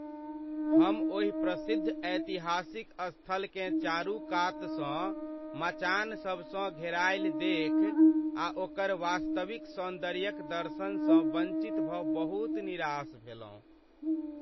हम ओहि प्रसिद्ध ऐतिहासिक स्थलकेँ चारूकातसँ मचान सबसँ घेरायल देखि आ ओकर वास्तविक सौन्दर्यक दर्शनसँ वंचित भऽ बहुत निराश भेलहुँ।